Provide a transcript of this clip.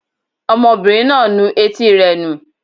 Ọmọbìnrin náà ń nu etí rẹ̀ nù